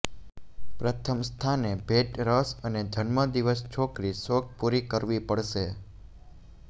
પ્રથમ સ્થાને ભેટ રસ અને જન્મદિવસ છોકરી શોખ પૂરી કરવી પડશે